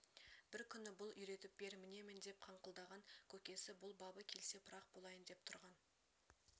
бір күні бұл үйретіп бер мінемін деп қыңқылдаған көкесі бұл бабы келсе пырақ болайын деп тұрған